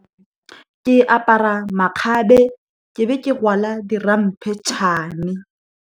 Ke apara makgabe, ke be ke rwala di ramphetšhane.